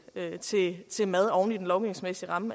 til mad oven i den lovgivningsmæssige ramme